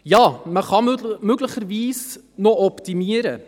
Ja, möglicherweise kann man noch optimieren: